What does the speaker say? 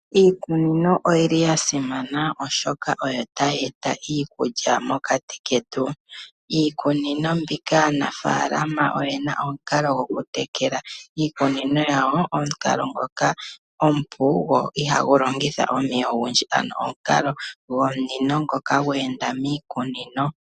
Iikunino oyi li ya simana, oshoka oyo ta yeeta iikulya mokati ketu. Iikunino mbika aanafaalama oye na omukalo gwokutekela iikunino yawo, omukalo ngoka omupu go iha gu longitha omeya ogendji. Ano omukalo gwomunino ngoka gwe enda miikunino.